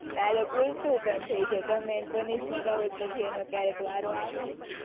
ક્યારેક ઉલટું પણ થઇ જાય, તમે એને punishment આપો તો પછી ક્યારેક એનોય વારો આવે ને.